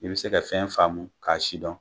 I bɛ se ka fɛn faamu ma k'a sidɔn.